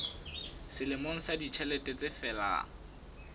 selemo sa ditjhelete se felang